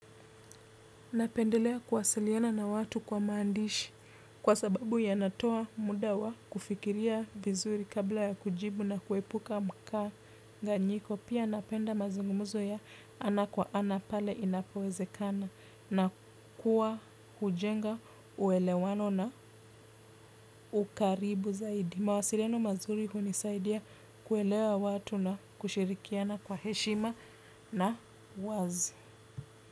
Napendelea kuwasiliana na watu kwa maandishi kwa sababu yanatoa muda wa kufikiria vizuri kabla ya kujibu na kuepuka mkanganyiko. Pia napenda mazungumzo ya ana kwa ana pale inapowezekana na kuwa hujenga uelewano na ukaribu zaidi. Mawasiliano mazuri hunisaidia kuelewa watu na kushirikiana kwa heshima na uwazi.